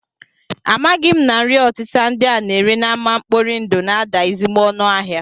Amaghị m na nri ọtịta ndị a na-ere n'ámá mkpori ndụ na-ada ezigbo ọnụ ahịa